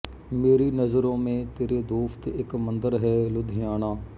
ਮੇਰੀ ਨਜ਼ਰੋਂ ਮੇਂ ਤੇਰੇ ਦੋਸਤ ਇੱਕ ਮੰਦਰ ਹੈ ਲੁਧਿਆਣਾ